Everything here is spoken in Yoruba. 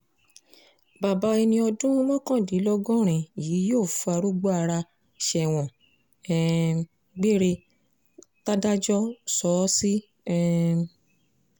bàbá ẹni ọdún mọ́kàndínlọ́gọ́rin yìí yóò fàrúgba ara sẹ́wọ̀n um gbére tàdájọ́ sọ ọ́ sí um